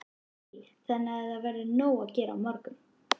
Lillý: Þannig að það verður nóg að gera á morgun?